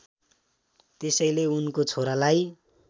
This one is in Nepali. त्यसैले उनको छोरालाई